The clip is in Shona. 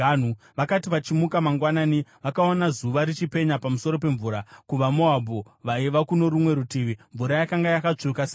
Vakati vachimuka mangwanani vakaona zuva richipenya pamusoro pemvura. KuvaMoabhu vaiva kuno rumwe rutivi, mvura yakanga yakatsvuka seropa.